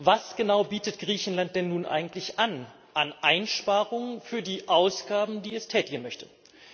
Was genau bietet Griechenland denn nun eigentlich an Einsparungen für die Ausgaben, die es tätigen möchte, an?